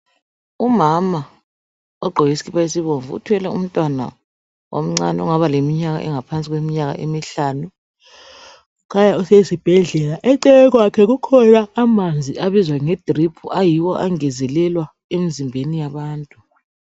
Umama ogqoke isikhipha esibomvu uthwele umntwana omncani ,ongaba leminyaka engaba ngaphansi kweminyaka emihlanu . Kukhanya usesibhedlela, eceleni kwakhe kukhona amanzi abizwa ngedrip ayiwo angezelelwa emizimbeni yabantu.